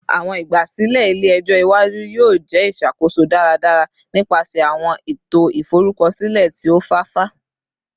Awọn igbasilẹ ile-ẹjọ iwaju yoo jẹ iṣakoso daradara nipasẹ awọn eto iforukọsilẹ ti o fafa